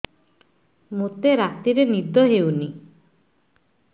ମୋତେ ରାତିରେ ନିଦ ହେଉନି